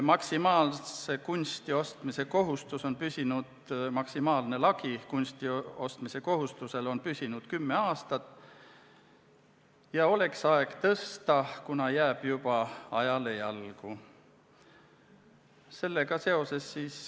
Maksimaalne lagi kunsti ostmise kohustuse puhul on püsinud kümme aastat ja oleks aeg seda tõsta, kuivõrd see jääb juba ajale jalgu.